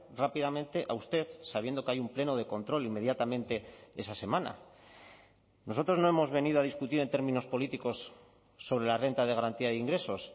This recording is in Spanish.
rápidamente a usted sabiendo que hay un pleno de control inmediatamente esa semana nosotros no hemos venido a discutir en términos políticos sobre la renta de garantía de ingresos